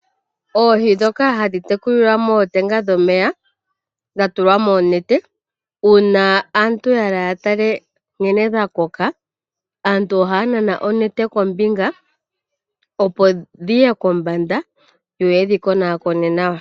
Oohi ndhoka hadhi tekulilwa mootenga dhomenya dha tulwa moonete uuna aantu ya hala ya tale nkene dha koka, aantu ohaya nana onete kombinga, opo dhi ye kombanda, yo ya wape ye dhi konaakone nawa.